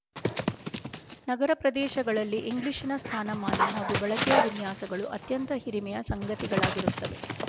ನಗರ ಪ್ರದೇಶಗಳಲ್ಲಿ ಇಂಗ್ಲಿಶಿನ ಸ್ಥಾನಮಾನ ಹಾಗೂ ಬಳಕೆಯ ವಿನ್ಯಾಸಗಳು ಅತ್ಯಂತ ಹಿರಿಮೆಯ ಸಂಗತಿಗಳಾಗಿರುತ್ತವೆ